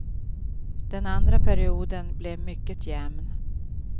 Den andra perioden blev mycket jämn.